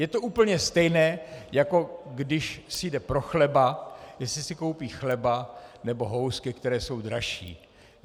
Je to úplně stejné, jako když si jde pro chleba, jestli si koupí chleba, nebo housky, které jsou dražší.